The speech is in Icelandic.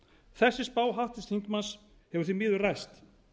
þessi spá háttvirts þingmanns hefur því miður ræst